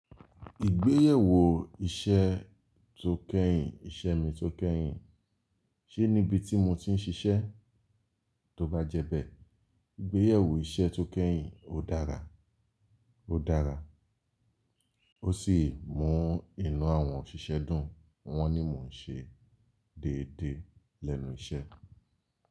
Ìgbéyẹ̀wò iṣẹ́ tó kẹ́yìn, ìṣe mi tó kẹ́yìn, ṣé níbi tí mo ti ń ṣiṣẹ́? Tó bá jẹ bẹ́ẹ̀, ìgbéyẹ̀wò iṣẹ́ tó kẹ́yìn ó dára, ó dára. Ó sì mú inú àwọn òṣìṣẹ́ dùn, wọ́n ní mò ń ṣe déédéé lẹ́nu iṣẹ́.